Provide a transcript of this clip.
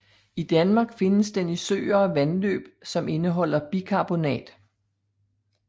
I Danmark findes den i søer og vandløb som indeholder bikarbonat